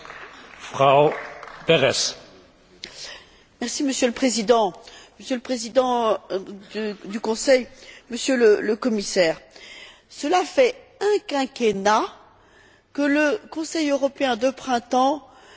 Monsieur le Président, Madame la Présidente du Conseil, Monsieur le Commissaire, cela fait un quinquennat que le Conseil européen de printemps va se tenir dans une ambiance de crise.